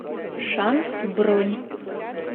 шанс бронь